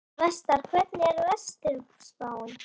Vestar, hvernig er veðurspáin?